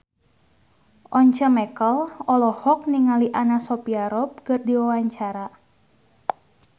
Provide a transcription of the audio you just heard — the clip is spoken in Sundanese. Once Mekel olohok ningali Anna Sophia Robb keur diwawancara